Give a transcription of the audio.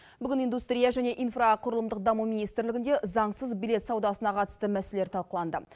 бүгін индустрия және инфрақұрылымдық даму министрлігінде заңсыз билет саудасына қатысты мәселелер талқыланды